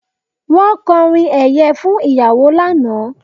Wọ́n kọrin ẹ̀yẹ fún ìyàwó lánàá